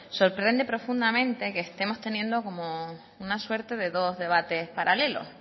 sorprende profundamente que estemos teniendo como una suerte de dos debates paralelos